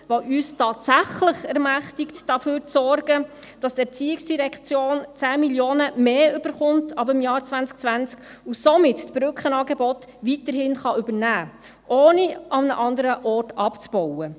Sie ermächtigt uns tatsächlich, dafür zu sorgen, dass die ERZ ab dem Jahr 2020 10 Mio. Franken mehr erhalten wird, und damit das Brückenangebot weiterhin übernehmen kann, ohne an anderen Orten abzubauen.